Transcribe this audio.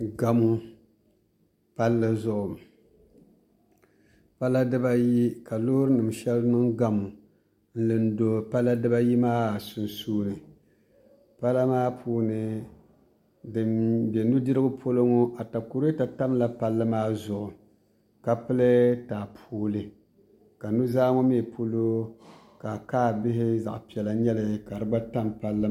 Gamo palli zuɣu pala dibayi ka loori nim shɛli niŋ gamo n lu do pala dibayi maa sunsuuni pala maa puuni din nyɛ nudirigu polo ŋɔ atakulɛta tamla palli maa zuɣu ka pili taapooli ka nuzaa ŋɔ mii polo ka kaa bihi zaɣ piɛla n nyɛli ka di gba tam palli maa zuɣu